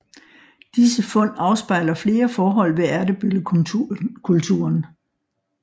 Disse fund afspejler flere forhold ved Ertebøllekulturen